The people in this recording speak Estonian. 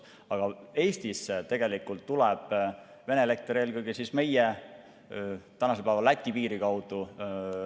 Aga Eestisse tuleb Vene elekter tänasel päeval eelkõige Läti piiri kaudu.